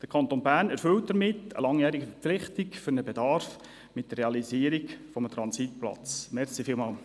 Der Kanton Bern erfüllt mit der Realisierung eines Transitplatzes eine langjährige Verpflichtung.